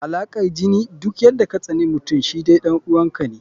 Alaƙar jini, duk yadda katsaninmutum shi dai ɗan uwa ka ne.